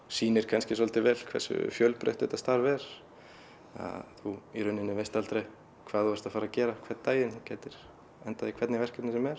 sýnir kannski svolítið vel hversu fjölbreytt þetta starf er þú í rauninni veist aldrei hvað þú ert að fara að gera hvern daginn þú gætir endað í hvernig verkefni sem er